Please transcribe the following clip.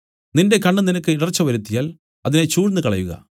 നിന്റെ കണ്ണ് നിനക്ക് ഇടർച്ച വരുത്തിയാൽ അതിനെ ചൂഴ്ന്നുകളയുക